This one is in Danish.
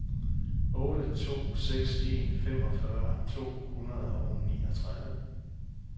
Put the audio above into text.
otte to seks en femogfyrre to hundrede og niogtredive